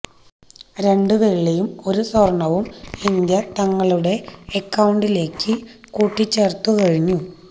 രണ്ടു വെള്ളിയും ഒരു സ്വര്ണവും ഇന്ത്യ തങ്ങളുടടെ അക്കൌണ്ടിലേക്കു കൂട്ടിച്ചേര്ത്തു കഴിഞ്ഞു